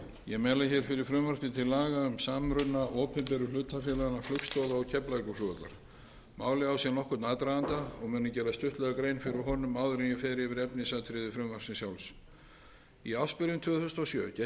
opinberu hlutafélaganna flugstoða og keflavíkurflugvallar málið á sér nokkurn aðdraganda áður en ég fer yfir efnisatriði frumvarpsins sjálfs í ársbyrjun tvö þúsund og sjö gekk í